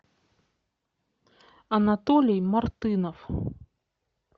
анатолий мартынов